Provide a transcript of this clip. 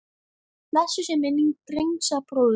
Blessuð sé minning Dengsa bróður.